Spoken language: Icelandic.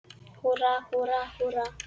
Húrra, húrra, húrra!